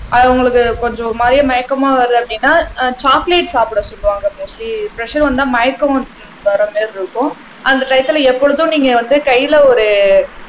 அது உங்களுக்கு கொஞ்சம் ஒரு மாதிரியா மயக்கமா வருது அப்படின்னா ஆஹ் சாக்லேட் சாப்பிட சொல்லுவாங்க மோஸ்ட்லி பிரஷர் வந்தால் மயக்கம் வர மாதிரி இருக்கும் அந்த டயத்துல எப்பொழுதும் நீங்க வந்து கையில ஒரு